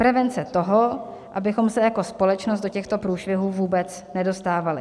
Prevence toho, abychom se jako společnost do těchto průšvihů vůbec nedostávali.